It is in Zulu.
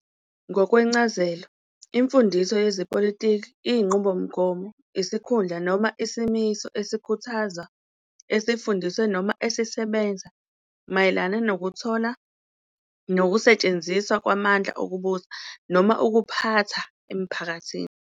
Ngokwencazelo, imfundiso yezepolitiki iyinqubomgomo, isikhundla noma isimiso esikhuthazwa, esifundiswe noma esisebenza mayelana nokuthola nokusetshenziswa kwamandla okubusa noma ukuphatha emphakathini.